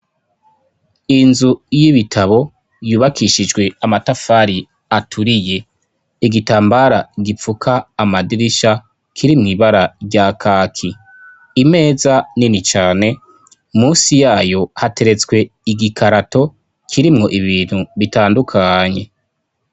Inzu y'ibitabo yubakishijwe amatafari aturiye. Igitambara gipfuka amadirisha, kiri mw' ibara rya kaki. Imeza nini cane, munsi yayo hateretswe igikarato kirimwo ibintu bitandukanye.